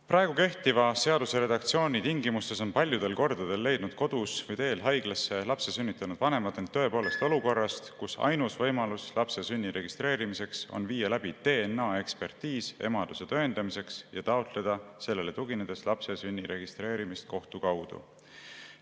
Praegu kehtiva seaduse redaktsiooni tingimustes on paljudel kordadel leidnud kodus või teel haiglasse sündinud lapse vanemad end tõepoolest olukorrast, kus ainus võimalus lapse sünni registreerimiseks on viia läbi DNA-ekspertiis emaduse tõendamiseks ja taotleda sellele tuginedes lapse sünni registreerimist kohtu kaudu.